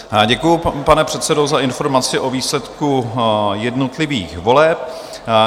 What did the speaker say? Děkuji, pane předsedo, za informaci o výsledku jednotlivých voleb.